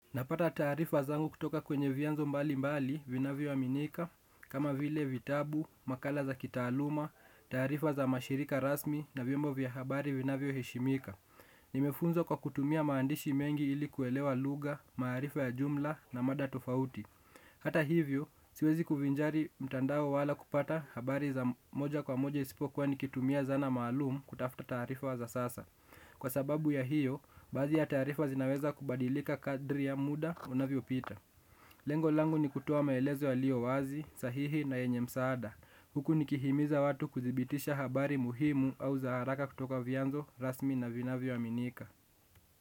Napata taarifa zangu kutoka kwenye vianzo mbali mbali vinavyo aminika, kama vile vitabu, makala za kitaaluma, tarifa za mashirika rasmi na vimbo vya habari vinavyo heshimika. Nimefunzwa kwa kutumia maandishi mengi ili kuelewa lugha, maarifa ya jumla na mada tofauti. Hata hivyo, siwezi kuvnjari mtandao wala kupata habari za moja kwa moja isipokua nikitumia zana maalumu kutafuta taarifa za sasa. Kwa sababu ya hiyo, baadhi ya tarifa zinaweza kubadilika kadri ya muda unavyo pita. Lengo langu ni kutowa maelezo yalio wazi, sahihi na yenye msaada. Huku nikihimiza watu kuthibitisha habari muhimu au za haraka kutoka vianzo, rasmi na vinavyo aminika.